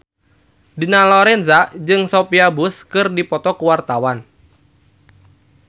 Dina Lorenza jeung Sophia Bush keur dipoto ku wartawan